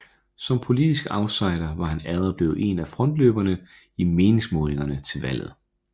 Som politisk outsider var han allerede blevet en af frontløberne i meningsmålingerne til valget